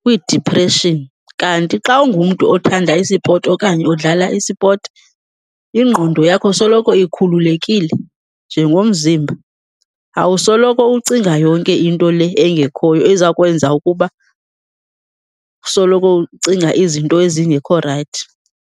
kwiidiphreshini. Kanti xa ungumntu othanda isipoti okanye odlala isipoti ingqondo yakho soloko ikhululekile njengomzimba, awusoloko ucinga yonke into le engekhoyo eza kwenza ukuba usoloko ucinga izinto ezingekho rayithi.